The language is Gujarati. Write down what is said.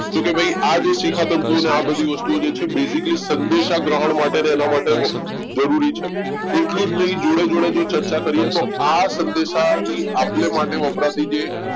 તો કે ભાઈ આજ જો શિખા તંતુને આ બધી વસ્તુઓ છે basically સંદેશા ગ્રહણ અને એના માટે જરૂરી છે એટલું જ નહીં જોડે જોડે જો ચર્ચા કરીએ તો આ સંદેશાની આપ લે માટે વપરાતી જે